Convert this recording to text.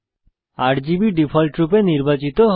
RGB ডিফল্টরূপে নির্বাচিত হয়